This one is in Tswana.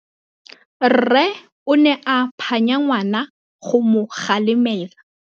Rre o ne a phanya ngwana go mo galemela.